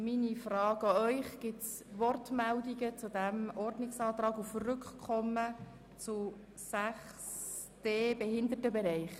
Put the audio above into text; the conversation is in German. Meine Frage an Sie: Gibt es Wortmeldungen zu diesem Ordnungsantrag auf Rückkommen auf 6.d Behindertenbereich?